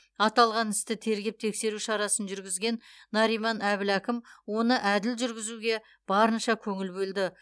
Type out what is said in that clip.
аталған істі тергеп тексеру шарасын жүргізген нариман әбіләкім оны әділ жүргізуге барынша көңіл бөлді